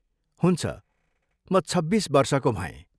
हुन्छ, म छब्बिस वर्षको भएँ।